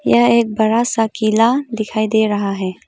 यह एक बड़ा सा किला दिखाई दे रहा है।